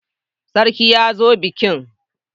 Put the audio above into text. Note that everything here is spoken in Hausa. Sarki ya zo bikin.